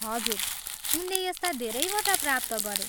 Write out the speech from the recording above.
हजुर, उनले यस्ता धेरैवटा प्राप्त गरे।